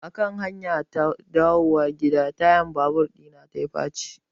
Akan hanyata ta dawowa gida tayan babur ɗina yayi faci.